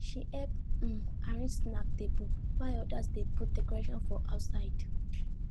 she help um arrange snack table while others dey put decorations for outside